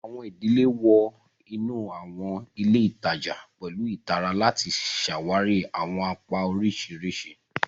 Awọn idile wọ inu awọn ile itaja pẹlu ìtara lati ṣawari awọn apá oriṣiriṣi.